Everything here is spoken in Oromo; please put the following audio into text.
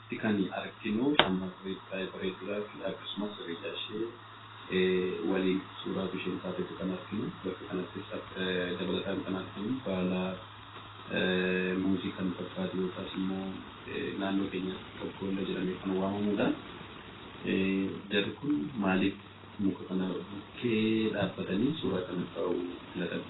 Asitti kan arginu, shamarree baay'ee bareedduu dhaa fi akkasumas Hiriyaa ishee waliin suuraa utuu ishiin kaatuuti kan arginu. Bakka kanattis dabalataan kan argamu baala muuzii kan fakkaatu yookaas immoo naannoo keenyatti 'Tonkoolloo' jedhamee kan waamamuu dha. Jarri kun maaliif muka kana bukkee dhaabbatanii suuraa kan ka'uu filatan?